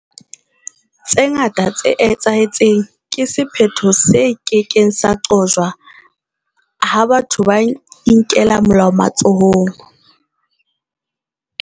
Tse ngata tse etsahetseng ke sephetho se ke keng sa qojwa ha batho ba inkela molao matsohong.